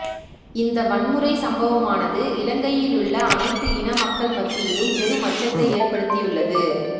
இந்த வன்முறை சம்பவமானது இலங்கையிலுள்ள அனைத்து இன மக்கள் மத்தியிலும் பெரும் அச்சத்தை ஏற்படுத்தியுள்ளது